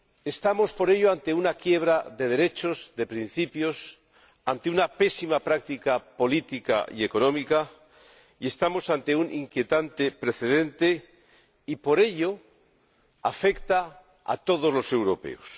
Estamos por ello ante una quiebra de derechos y de principios, ante una pésima práctica política y económica, y ante un inquietante precedente, por lo que este hecho afecta a todos los europeos.